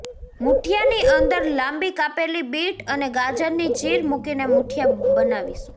મુઠીયાની અંદર લાંબી કાપેલી બીટ અને ગાજરની ચીર મૂકીને મુઠીયા બનાવીશુ